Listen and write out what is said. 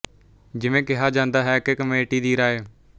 ਜਿਵੇਂ ਕਿਹਾ ਜਾਂਦਾ ਹੈ ਕਿ ਕਮੇਟੀ ਦੀ ਰਾਇ